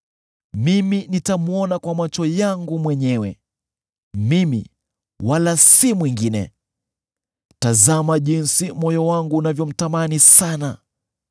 mimi nitamwona kwa macho yangu mwenyewe: mimi, wala si mwingine. Tazama jinsi moyo wangu unavyomtamani sana!